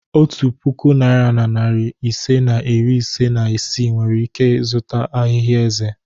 Otu puku naịra na narị ise na iri ise na isii nwere ike zụta ahịhịa eze.